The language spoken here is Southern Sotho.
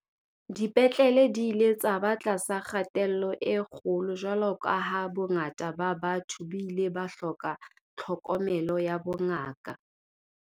Dipetlele di ile tsa ba tlasa kgatello e kgolo jwalo ka ha bongata ba batho bo ile ba hloka tlhokomelo ya bongaka.